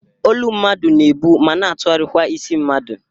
Olu mmadụ na-ebụ ma na atụgharịkwa isi mmadụ